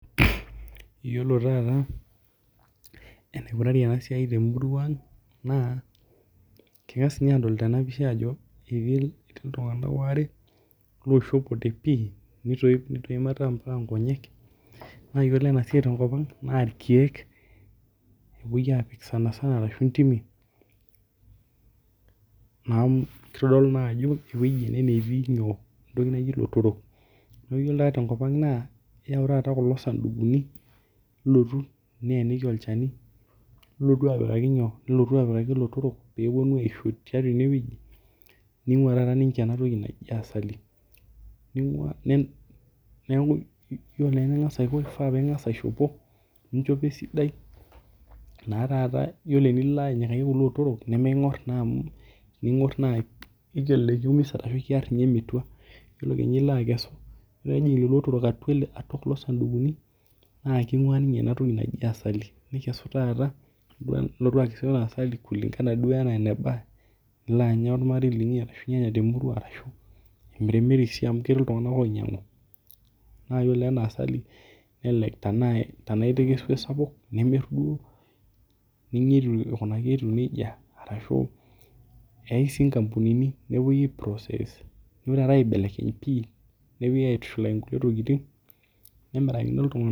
Yiolo taata enikunari ena siai temurua ang' naa, kingas ninye aadol tena pisha ajo ketii iltunganak waare loishopote pii nitoip ate ambaka inkonyek. Naa wore ena siai tenkop ang naa irkiek epoi aapik sanisana ashu intimi, naa kitodolu naa ajo ewoji ena natii inyoo? entoki naji ilotorrok. Neeku iyiolo taata tenkop ang' naa, iyau taata kulo sandukuni, nilotu nieniki olchani, nilotu apikaki inyo? Nilotu apikaki ilotorrok, pee eponu aisho tiatua ene wueji, ningua taata ninche enatoki naji asali. Neeku yiolo naa eningas aiko. Kifaa pee ingas aishopo, ninchopo esidai, naa taata yiolo enilo anyikaki kulo otorok, nimikingor naa amu, nelelek kiumisa arashu kiarr ninye mitua. Yiolo kenya ilo akesu, yiolo ake peejing ilotorrok atua kulo sandukuni, naa kingua ninche ena toki naji asali. Nikesu taata, nilotu akesu ina asali kulingana duo enaa enaba, nilo anya olmarei linyi ashu inyanya temurua ashu imirimiri sii amu ketii iltunganak oinyiangu naaji oleng' ena asali, nelelek tenaa ipik ewoji sapuk, nimirr duo, ninya etiu aikunaki etiu nejia, arashu eeyai sii inkampunini, nepuoi ai process duo taata aibelekeny pii, nepoi aitushulaki kulie tokitin, nemirakini iltunganak